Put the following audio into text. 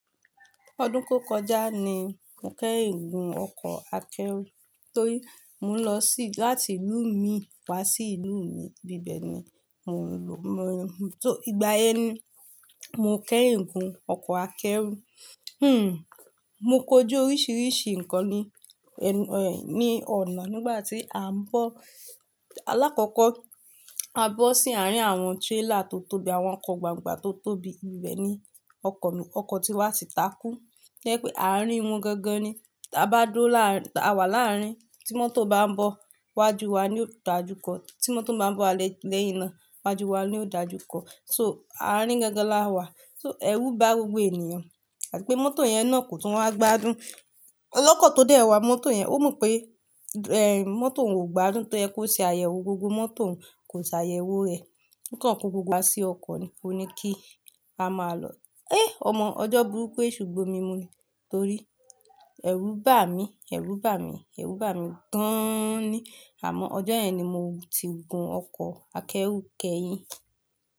Ọdún tó kọjá ni mo kẹ́yin gun ọkọ̀ akẹ́rù torí mo ń lọ sí láti ìlú mi wá sí ìlú mi, bíbẹ̀ ni mò ń lọ. Só ìgbà yẹn ni mo kẹ́yin gun ọkọ̀ akẹ́rù. Hmm, mo kóju oríṣiríṣi nǹkan ní, ẹ, ẹ, ní ọ̀nà nígbà tí à ń bọ̀. Alákọ̀kọ́, a bọ́ sí àárín àwọn trailer tó tóbi, àwọn ọkọ̀ gbàngbà tó tóbi, íbibẹ̀ ni ọkọ̀ mi, ọkọ̀ ti wá ti takú. To jepé àrín wọn ganga ni. Ta bá dúró láàárin, ta wa láàárin, tí mọ́tò bá ń bọ̀ wájú wa ni yóò dáa jù kọ. Tí mọ́tò bá ń bọ̀ lẹ́yìnna wájú wa ni yóò dáa jù kọ. So, àrín gangan láàwa. So, ẹ̀rù bá gbogbo ènìyàn àti pé mọ́tò yẹn náà kò tún wá gbádùn. Ọlọ́kọ̀ tó dẹ́ẹ̀ wá mọ́tò yẹn, ó mọ pé, ẹ, mọ́tò òun kò gba dún to ye kó ṣe àyẹ̀wò gbogbo mọ́tò òun, kò ṣe àyẹ̀wò rẹ̀. Nǹkan ko gbogbo wá sí ọkọ̀ ni, ó ní kí a máa lọ. Ẹ́! Ọmọ ọjọ́ burúku éèṣù gbó mi mú ni. Torí ẹ̀rù bà mí, ẹ̀rù bà mí, ẹ̀rù bà mí gáán-án ní. Àmọ́ ọjọ́ yẹn ni mo ti gun ọkọ̀ akẹ́rù kẹ́yìn.